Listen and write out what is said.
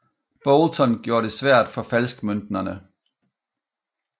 Boulton gjorde det svært for falskmøntnere